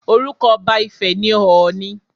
Orúkọ ọba ifẹ̀ ni ọọ̀ni